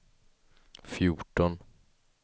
fjorton